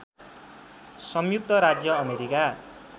संयुक्त राज्य अमेरीका